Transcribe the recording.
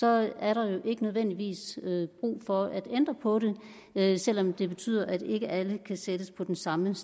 er der jo ikke nødvendigvis brug for at ændre på det selv om det betyder at ikke alle kan sættes på den samme